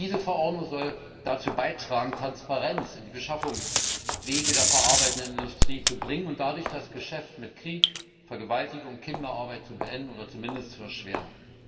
Diese Verordnung soll dazu beitragen, Transparenz in die Beschaffungswege der verarbeitenden Industrie zu bringen und dadurch das Geschäft mit Krieg, Vergewaltigungen, Kinderarbeit zu beenden oder zumindest zu erschweren.